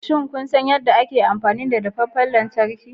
Shin kun san yadda ake amfani da dafaffen lantarki?